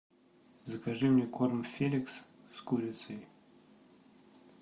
закажи мне корм феликс с курицей